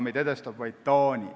Meid edestab vaid Taani.